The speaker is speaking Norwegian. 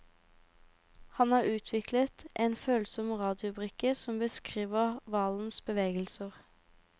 Han har utviklet en følsom radiobrikke som beskriver hvalens bevegelser.